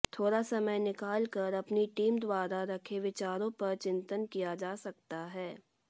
थोड़ा समय निकालकर अपनी टीम द्वारा रखे विचारों पर चिंतन किया जा सकता है